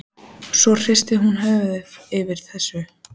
Svo hristir hún höfuðið yfir þessu.